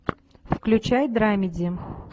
включай драмеди